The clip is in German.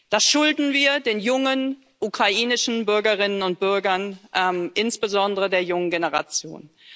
Das schulden wir den jungen ukrainischen Bürgerinnen und Bürgern, insbesondere der jungen Generation.